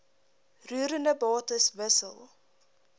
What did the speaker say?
roerende bates wissel